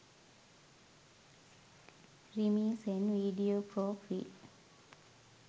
rimi sen video for free